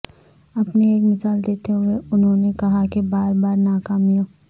اپنی ایک مثال دیتے ہوئے انہوں نے کہا کہ بار بار ناکامیوں